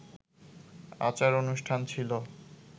আচার-অনুষ্ঠান ছিল